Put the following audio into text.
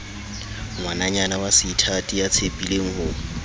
ngwananyana waseithati ya tshepileng ho